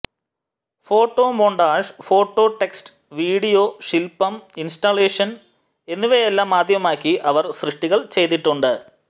photomontage phototext video ശിൽപം installation എന്നിവയെല്ലാം മാധ്യമമാക്കി അവർ സൃഷ്ടികൾ ചെയ്തിട്ടുണ്ട്